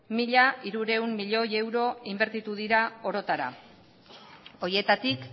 mila hirurehun milioi euro inbertitu dira orotara horietatik